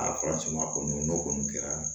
A faratima kɔni n'o kɔni kɛra